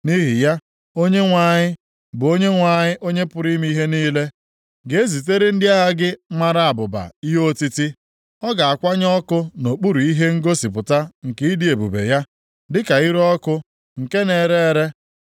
Nʼihi ya, Onyenwe anyị, bụ Onyenwe anyị, Onye pụrụ ime ihe niile, ga-ezitere ndị agha gị mara abụba ihe otiti; ọ ga-akwanye ọkụ nʼokpuru ihe ngosipụta nke ịdị ebube ya dịka ire ọkụ nke na-ere ere.